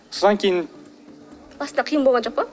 содан кейін басында қиын болған жоқ па